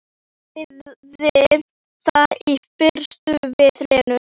Sagði það í fyrstu við Lenu.